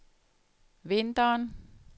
vinteren